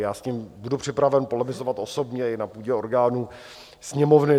Já s ním budu připraven polemizovat osobně i na půdě orgánů Sněmovny.